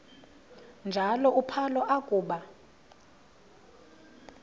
njalo uphalo akuba